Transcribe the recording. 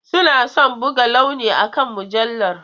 Suna son buga launi akan mujallar.